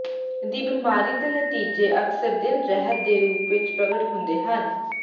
ਦੀ ਬਿਮਾਰੀ ਦੇ ਨਤੀਜੇ ਅਕਸਰ ਦਿਲ ਰਹਿਤ ਦੇ ਰੂਪ ਵਿੱਚ ਪ੍ਰਗਟ ਹੁੰਦੇ ਹਨ